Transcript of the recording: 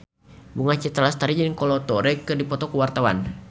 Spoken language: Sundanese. Bunga Citra Lestari jeung Kolo Taure keur dipoto ku wartawan